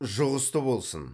жұғысты болсын